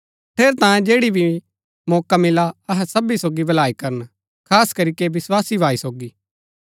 ठेरैतांये जैड़ी भी मौका मिला अहै सबी सोगी भलाई करन खास करीके विस्वासी भाई सोगी